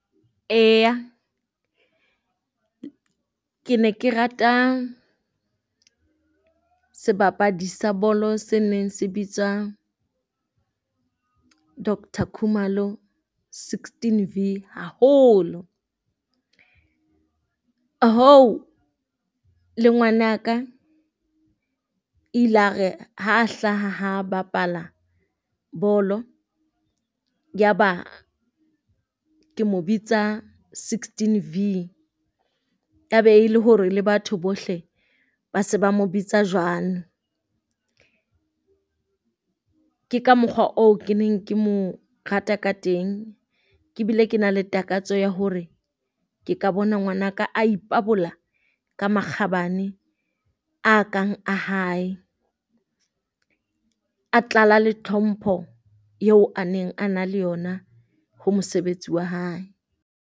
Eya ke ne ke rata sebapadi sa bolo se neng se bitswa Doctor Khumalo sixteen V haholo. Le ngwana ka ilare ha hlaha ha bapala bolo ya ba ke mo bitsa sixteen V, ya ba e le hore le batho bohle ba se ba mo bitsa jwano. Ke ka mokgwa oo ke neng ke mo rata ka teng, ke bile ke na le takatso ya hore ke ka bona ngwanaka a ipabola ka makgabane a kang a hae. A tlala le tlhompho eo a neng a na le yona ho mosebetsi wa hae.